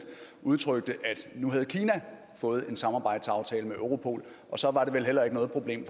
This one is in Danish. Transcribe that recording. udtrykte at nu havde kina fået en samarbejdsaftale med europol og så var det vel heller ikke noget problem